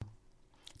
Radio 4